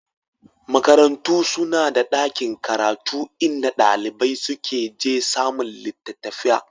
Makarantu suna da ɗakin karatu inda ɗalibai suka je samun littattafai